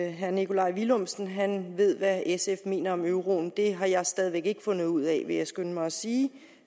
at herre nikolaj villumsen ved hvad sf mener om euroen det har jeg stadig væk ikke fundet ud af vil jeg skynde mig at sige